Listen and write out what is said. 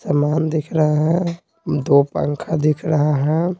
सामान दिख रहा है दो पंखा दिख रहा है।